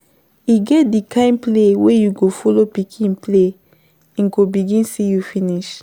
E get di kind play wey you go follow pikin play im go begin see you finish